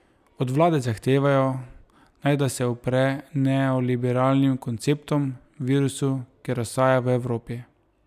Od vlade zahtevajo, naj da se upre neoliberalnim konceptom, virusu, ki razsaja v Evropi.